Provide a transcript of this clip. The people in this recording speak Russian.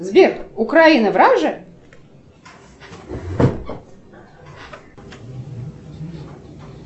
сбер украина враже